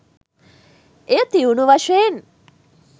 එය තියුණු වශයෙන්